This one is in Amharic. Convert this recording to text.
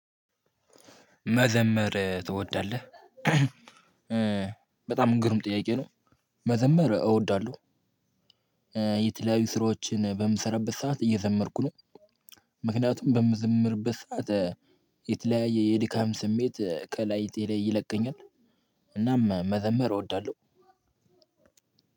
መዘመር ትወዳለህ በጣም ግሩም ጥያቄ ነው? መዘመር እወዳለሁ። የተለያዩ ስራዎችን በምሰራበት ሰዓት እየዘመርኩ ነው። ምክንያቱም በምዝምርበት ሰዓት የተለያየ የድካም ስሜት ከላይቴ ላይ ይለቀኛል። እናም መዘምር እወዳለሁ።